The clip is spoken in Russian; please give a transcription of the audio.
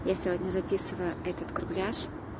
я сегодня записываю этот курпляж